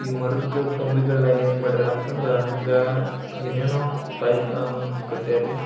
ಈ ಮರದ್ ಕೊಂಬೆಗಳ ಏನ್ ಮಾಡ್ಯಾರ ಅಂತ ಅಂದ್ರೆ ಏನೇನೊ ತಾಯತ ಅದೇನೋ ಕಾಟ್ಯಾರ್ ರೀ.